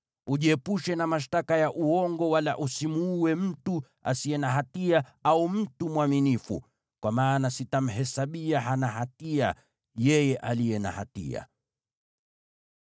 Ujiepushe na mashtaka ya uongo, wala usimuue mtu asiye na hatia au mtu mwaminifu, kwa maana sitamhesabia hana hatia yeye aliye na hatia.